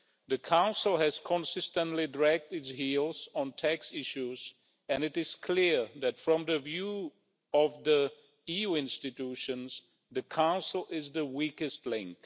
The Council has consistently dragged its heels on tax issues, and it is clear that from the perspective of the EU institutions, the Council is the weakest link.